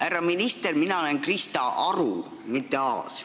Härra minister, mina olen Krista Aru, mitte Aas.